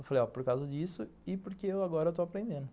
Eu falei, ó, por causa disso e porque eu agora estou aprendendo.